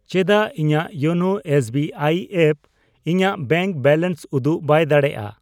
ᱪᱮᱫᱟᱜ ᱤᱧᱟᱜ YONO SBI app ᱤᱧᱟᱜ ᱵᱮᱝᱠ ᱵᱮᱞᱮᱱᱥ ᱩᱫᱩᱜ ᱵᱟᱭ ᱫᱟᱲᱮᱭᱟᱜᱼᱟ ?